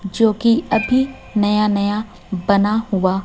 जोकि अभी नया नया बना हुआ--